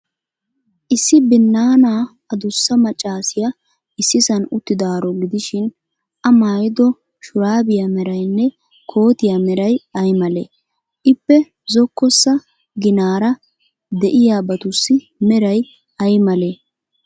Issi binnaanaa adussa maccaasiyaa issisan uttidaaro gidishin, A maayido shuraabiya meraynne kootiyaa meray ay malee? Ippe zokkossa ginaara de'iyaabatussi meray ay malee?